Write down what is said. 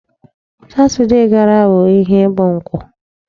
Saturday gara bụ ihe bụ Nkwọ.